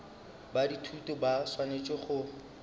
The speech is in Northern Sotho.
ba dithuto ba swanetše go